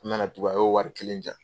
N na na tugun a y'o wari kelen di yan.